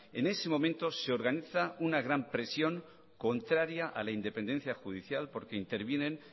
en ese momento se organiza una gran presión contraria a la independencia judicial porque intervienen